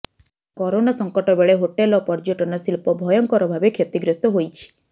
corona ସଙ୍କଟ ବେଳେ hotel ଓ ପର୍ଯ୍ୟଟନ ଶିଳ୍ପ ଭୟଙ୍କର ଭାବେ କ୍ଷତିଗ୍ରସ୍ତ ହୋଇଛି